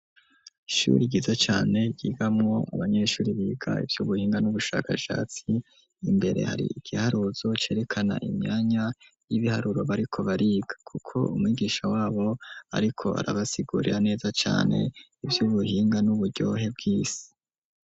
Ishuri ryiza cane, ryigamwo mu banyeshuri biga ivyubuhinga n'ubushakashatsi ,imbere hari igiharuzo cerekana imyanya y'ibiharuro bariko bariga, kuko umwigisha wabo ariko arabasigurira neza cane ivy'ubuhinga n'uburyohe bw'isi.